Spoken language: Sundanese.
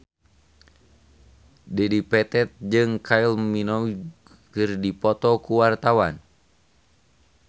Dedi Petet jeung Kylie Minogue keur dipoto ku wartawan